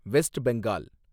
west Bengal